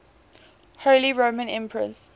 holy roman emperors